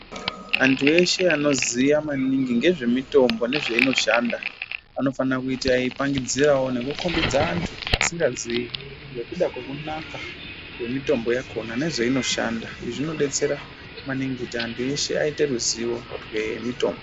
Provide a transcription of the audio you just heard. Andu eshe anoziya maningi nezvemitombo nezveinoshanda anofana kuita eipangidzirawo nekukhombidza andu asingazii ngekuda kwekunaka kwemitombo yakhona nekuzveinoshanda, izvi zvinobetsera maningi, kuti andu eshe aite ruziwo rwemitombo.